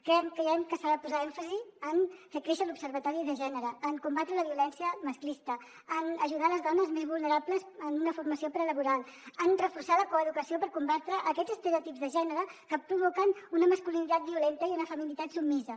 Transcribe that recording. creiem que s’ha de posar èmfasi en fer créixer l’observatori per a la igualtat de gènere en combatre la violència masclista en ajudar les dones més vulnerables amb una formació prelaboral en reforçar la coeducació per combatre aquests estereotips de gènere que provoquen una masculinitat violenta i una feminitat submisa